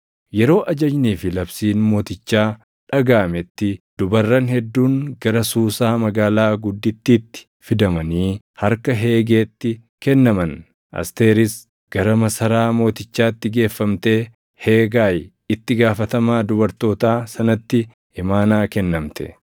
Yeroo ajajnii fi labsiin mootichaa dhagaʼametti dubarran hedduun gara Suusaa magaalaa gudditiitti fidamanii harka Hegeetti kennaman. Asteeris gara masaraa mootichaatti geeffamtee Heegaayi itti gaafatamaa dubartootaa sanatti imaanaa kennamte.